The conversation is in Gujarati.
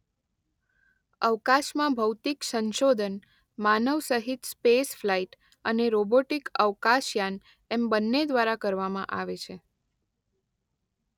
અવકાશમાં ભૌતિક સંશોધન માનવસહિત સ્પેસફલાઈટ અને રોબોટિક અવકાશયાન એમ બંને દ્વારા કરવામાં આવે છે.